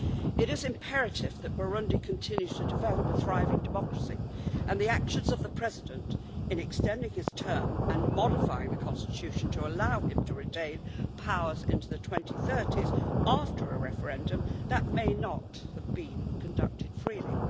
It is imperative that Burundi continues to develop a thriving democracy, despite the actions of the President in extending his term and modifying the country's constitution to allow him to retain powers into the 2030s, after a referendum that may not have been conducted freely.